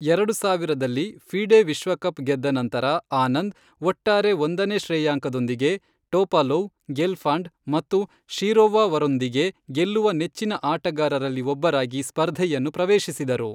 ಎರಡು ಸಾವಿರದಲ್ಲಿ ಫಿಡೆ ವಿಶ್ವಕಪ್ ಗೆದ್ದ ನಂತರ, ಆನಂದ್ ಒಟ್ಟಾರೆ ಒಂದನೇ ಶ್ರೇಯಾಂಕದೊಂದಿಗೆ ಟೋಪಾಲೋವ್, ಗೆಲ್ಫಾಂಡ್ ಮತ್ತು ಶಿರೋವ ವರೊಂದಿಗೆ ಗೆಲ್ಲುವ ನೆಚ್ಚಿನ ಆಟಗಾರರಲ್ಲಿ ಒಬ್ಬರಾಗಿ ಸ್ಪರ್ಧೆಯನ್ನು ಪ್ರವೇಶಿಸಿದರು.